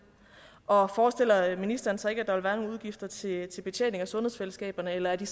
og forestiller ministeren sig ikke at der vil være nogle udgifter til til betjening af sundhedsfællesskaberne eller er de